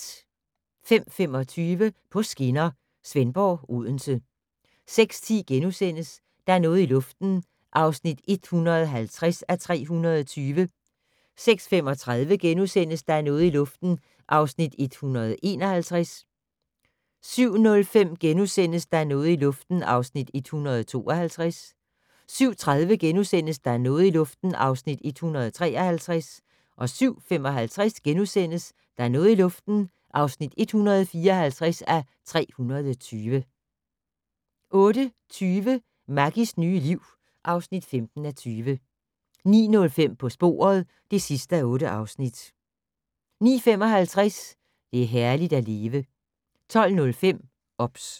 05:25: På skinner: Svendborg-Odense 06:10: Der er noget i luften (150:320)* 06:35: Der er noget i luften (151:320)* 07:05: Der er noget i luften (152:320)* 07:30: Der er noget i luften (153:320)* 07:55: Der er noget i luften (154:320)* 08:20: Maggies nye liv (15:20) 09:05: På sporet (8:8) 09:55: Det er herligt at leve 12:05: OBS